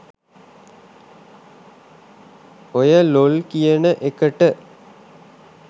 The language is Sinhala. ඔය ලොල් කියන එකට